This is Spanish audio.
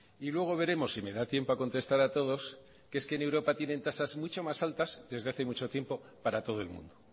y luego veremos si me da tiempo a contestar a todos que es que en europa tienen tasas mucho más altas desde hace mucho tiempo para todo el mundo